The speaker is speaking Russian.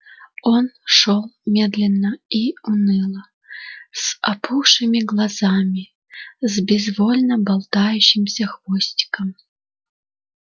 он шёл медленно и уныло с опухшими глазами с безвольно болтающимся хвостиком